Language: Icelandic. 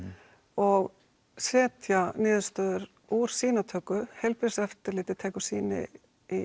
og setja niðurstöður úr sýnatöku heilbrigðiseftirlitið tekur sýni